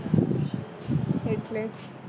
એટલે